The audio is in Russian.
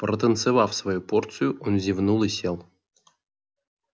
протанцевав свою порцию он зевнул и сел